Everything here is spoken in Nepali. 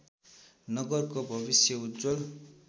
नगरको भविष्य उज्जवल